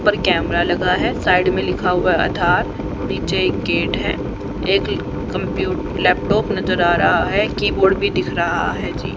ऊपर कैमरा लगा है साइड में लिखा हुआ है आधार पीछे एक गेट है एक कंप्यू लैपटॉप नजर आ रहा है कीबोर्ड भी दिख रहा है जी।